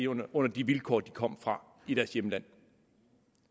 under de vilkår de kom fra i deres hjemland